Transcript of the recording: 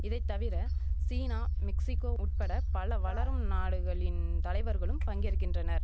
இதைத்தவிர China Mexico உட்பட பல வளரும் நாடுகளின் தலைவர்களும் பங்கேற்கின்றனர்